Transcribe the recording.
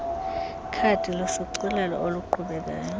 khadi lushicilelo oluqhubekayo